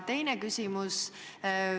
Teine küsimus.